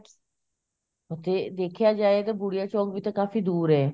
okay ਦੇਖਿਆ ਜਾਏ ਤਾਂ ਬੁੜਿਆ ਚੋਂਕ ਤਾਵੀਂ ਕਾਫ਼ੀ ਦੂਰ ਐ